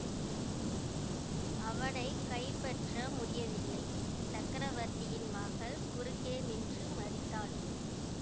அவனை கைப்பற்ற முடியவில்லை சக்கரவர்த்தியின் மகள் குறுக்கே நின்று மறித்தாள்